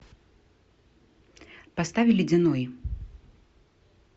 поставь ледяной